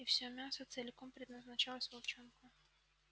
и всё мясо целиком предназначалось волчонку